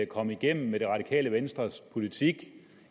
at komme igennem med det radikale venstres politik